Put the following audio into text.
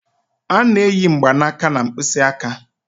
A na-eyi mgbanaka na mkpịsị aka.